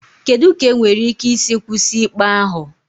Kedu ka enwere ike isi kwụsị ikpe ahụ?